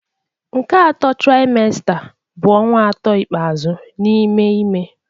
Nke atọ trimester bụ ọnwa atọ ikpeazụ n'ime ime